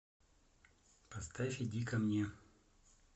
поставь иди ко мне